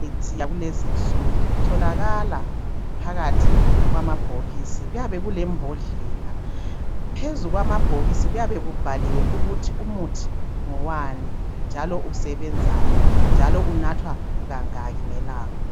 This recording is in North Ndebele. Imithi yakulezinsuku itholakala phakathi kwamabhokisi kuyabe kulembodlela phezu kwamabhokisi kuyabe kubhaliwe ukuthi umuthi ngowani njalo usebenzani njalo unathwa kangaki ngelanga.